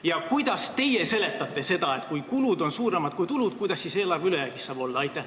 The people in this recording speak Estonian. Ja kuidas te seletate seda, et kui kulud on suuremad kui tulud, kuidas siis eelarve ülejäägis saab olla?